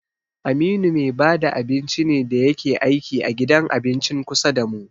Aminu me bada abinci ne da yake aiki a gidan abincin kusa damu.